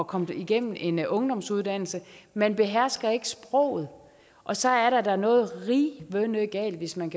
komme igennem en ungdomsuddannelse man behersker ikke sproget og så er der da noget rivende galt hvis man